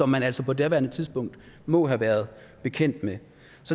man altså på daværende tidspunkt må have været bekendt med